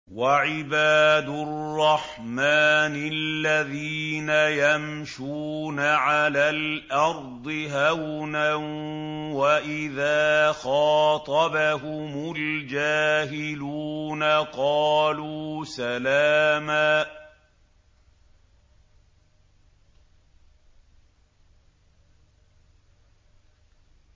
وَعِبَادُ الرَّحْمَٰنِ الَّذِينَ يَمْشُونَ عَلَى الْأَرْضِ هَوْنًا وَإِذَا خَاطَبَهُمُ الْجَاهِلُونَ قَالُوا سَلَامًا